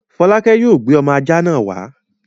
Folake yóò gbé ọmọ ajá náà wá!